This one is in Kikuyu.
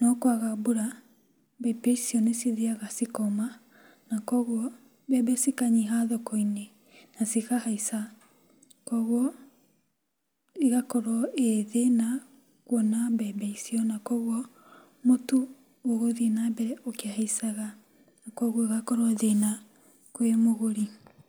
no kwaga mbura mbembe icio nĩcithiyaga ikoma na koguo mbembe cikanyiha thokoinĩ na cikahaica. Koguo ĩgakorwo ĩrĩ thĩna kuona mbembe icio na koguo mũtũ ũgũthiĩ na mbere ũkĩhaicaga na koguo ũgakorwo thĩna kwĩ mũgũri.